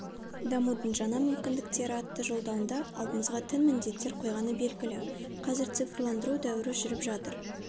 дамудың жаңа мүмкіндіктері атты жолдауында алдымызға тың міндеттер қойғаны белгілі қазір цифрландыру дәуірі жүріп жатыр